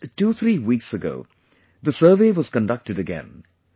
Just twothree weeks ago, the survey was conducted again